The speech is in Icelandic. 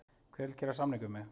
Hver vill gera samning við mig?